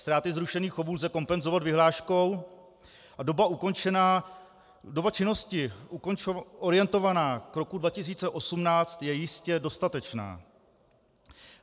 Ztráty zrušených chovů lze kompenzovat vyhláškou a doba činnosti orientovaná k roku 2018 je jistě dostatečná.